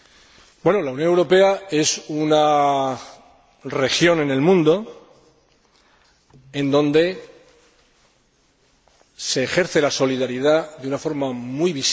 La Unión Europea es una región en el mundo donde se ejerce la solidaridad de una forma muy visible.